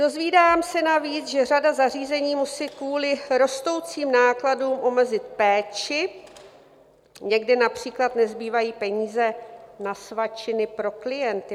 Dozvídám se navíc, že řada zařízení musí kvůli rostoucím nákladům omezit péči, někdy například nezbývají peníze na svačiny pro klienty.